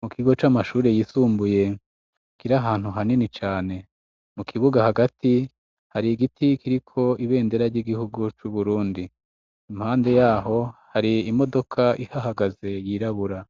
Mu kigo c'amashure yisumbuye kiri ahantu hanini cane mu kibuga hagati hari igiti kiriko ibendera ry'igihugu c'Uburundi. Impande yaho hari imodoka ihahagaze yirabura.